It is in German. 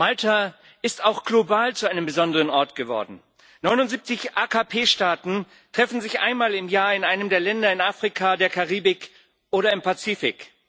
Malta ist auch global zu einem besonderen Ort geworden. 79 AKP Staaten treffen sich einmal im Jahr in einem der Länder in Afrika, in der Karibik oder im Pazifik.